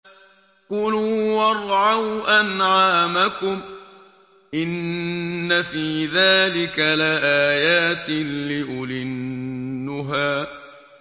كُلُوا وَارْعَوْا أَنْعَامَكُمْ ۗ إِنَّ فِي ذَٰلِكَ لَآيَاتٍ لِّأُولِي النُّهَىٰ